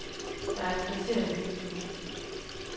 Der er et kvarter at løbe på.